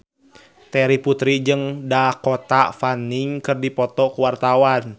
Terry Putri jeung Dakota Fanning keur dipoto ku wartawan